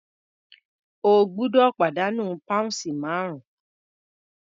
O gbọ́dọ̀ pàdánù pounds márùn-ún.